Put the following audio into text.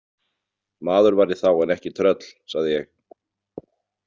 Maður var ég þá en ekki tröll, sagði ég.